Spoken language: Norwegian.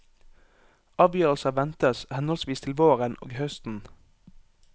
Avgjørelser ventes henholdsvis til våren og høsten.